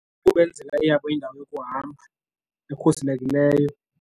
Kukubenzela iyabo indawo yokuhamba ekhuselekileyo.